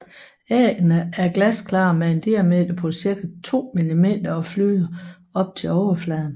Æggene er glasklare med en diameter på cirka 2 millimeter og flyder op til overfladen